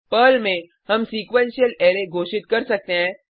Perl में हम sequential array घोषित कर सकते हैं